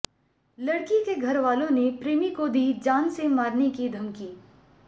लड़की के घरवालों ने प्रेमी को दी जान से मारने की धमकी